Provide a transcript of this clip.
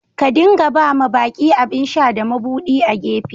Ka dinga ba ma baki abin sha da mabudi a'gefe.